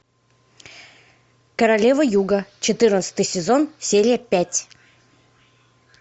королева юга четырнадцатый сезон серия пять